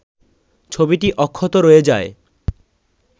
ছবিটি অক্ষত রয়ে যায়